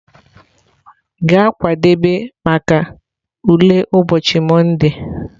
Gaa kwadebe maka ule ụbochị Monde!.